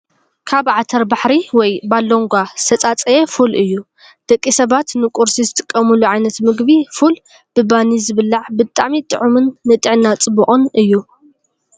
ካብ ዓተባሪሕ /ባሎንጋ/ ዝተፃፀየ ፉል እዩ። ደቂ ሰባት ንቁርሲ ዝጥቀሙሉ ዓይነት ምግቢ ፉል ብባኒ ዝብላዕ ብጣዕሚ ጥዑምን ንጥዕና ፅቡቅን እዩ።